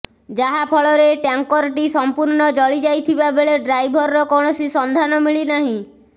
ଯାହା ଫଳରେ ଟ୍ୟାଙ୍କରଟି ସମ୍ପୁର୍ଣ୍ଣ ଜଳିଯାଇଥିବାବେଳେ ଡ୍ରାଇଭରର କୌଣସି ସନ୍ଧାନ ମିଳିନାହିଁ